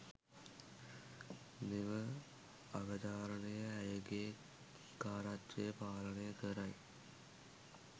මෙම අවධාරණය ඇයගේ කාරකත්වය පාලනය කරයි.